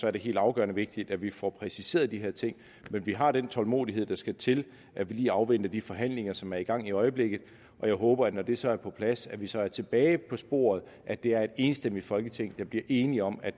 er det helt afgørende vigtigt at vi får præciseret de her ting men vi har den tålmodighed der skal til at vi lige afventer de forhandlinger som er i gang i øjeblikket jeg håber når det så er på plads at vi så er tilbage på sporet at det er et enigt folketing der bliver enige om at